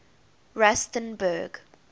rustenburg